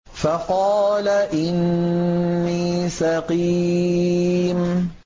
فَقَالَ إِنِّي سَقِيمٌ